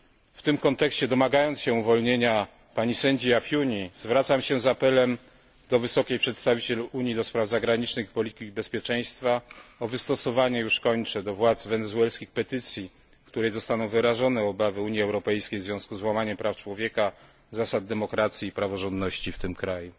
W tym kontekście, domagając się uwolnienia pani sędzi Afiuni, zwracam się z apelem do wysokiego przedstawiciela Unii do spraw zagranicznych i polityki bezpieczeństwa o wystosowanie już kończę do władz wenezuelskich petycji, w której zostaną wyrażone obawy Unii Europejskiej w związku z łamaniem praw człowieka, zasad demokracji i praworządności w tym kraju.